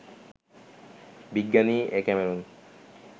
বিজ্ঞানী A Cameron